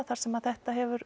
þar sem þetta hefur